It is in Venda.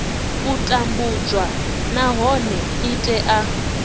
u tambudzwa nahone i tea